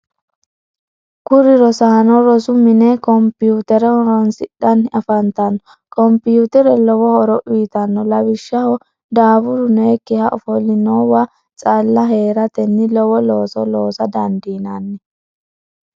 kuri rosaano rosu mine computere horonsidhanni afantanno. computere lowo horo uyitanno. lawishaho daafuru nooyikkiha offolinowa calla heeratenni lowo looso loosa dandinanni.